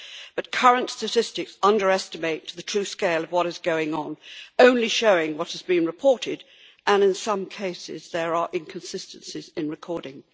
But current statistics underestimate the true scale of what is going on, only showing what has been reported, and in some cases there are inconsistencies in recording.